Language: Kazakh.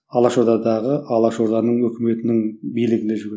алаш ордадағы алаш орданың өкіметінің билігінде жүрген